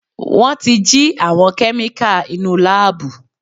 Wọ́n ti jí àwọn kẹ́míkà inúu láàbù.